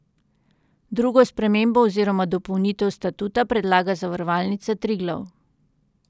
Drugo spremembo oziroma dopolnitev statuta predlaga Zavarovalnica Triglav.